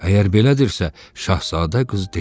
Əgər belədirsə, Şahzadə qız dedi.